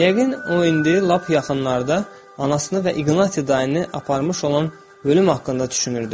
Yəqin o indi lap yaxınlarda anasını və İqnati dayını aparmış olan ölüm haqqında düşünürdü.